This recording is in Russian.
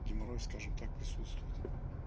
геморрой скажем так присутствует